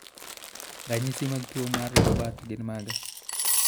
Ranyisi mag tuwo mar Joubert gin mage?